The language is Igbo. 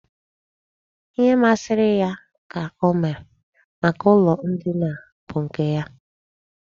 Ihe masịrị ya ka o mere. Maka ụlọ ndina a bụ nke ya.